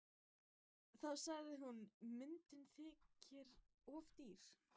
Þá sagði hún: Myndin þykir of dýr.